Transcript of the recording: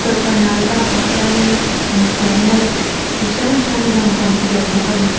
tawlhpanal bakah hianin infiamna chi hrang hrang dang a awm tel bawk a ni.